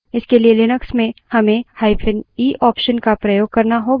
इसके लिए लिनक्स में हमें –e option का प्रयोग करना होगा